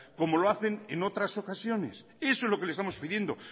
como lo hacen en otras ocasiones eso es lo que le estamos pidiendo